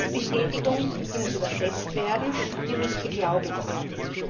Diese Lebensbestätigung, die muss übersetzt werden, und die muss beglaubigt werden.